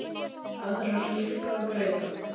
Aðrar lífga og græða.